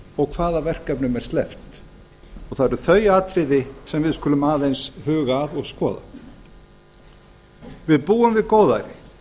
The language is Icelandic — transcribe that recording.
og hvaða verkefnum er sleppt og það eru þau atriði sem við skulum aðeins huga að og skoða við búum við góðæri